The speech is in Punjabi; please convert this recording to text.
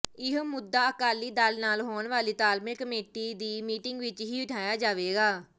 ਇਹ ਮੁੱਦਾ ਅਕਾਲੀ ਦਲ ਨਾਲ ਹੋਣ ਵਾਲੀ ਤਾਲਮੇਲ ਕਮੇਟੀ ਦੀ ਮੀਟਿੰਗ ਵਿਚ ਵੀ ੳਠਾਇਆ ਜਾਵੇਗਾ